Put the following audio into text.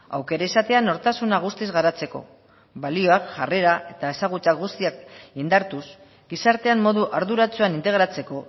aukera izatea nortasuna guztiz garatzeko balioak jarrera eta ezagutza guztiak indartuz gizartean modu arduratsuan integratzeko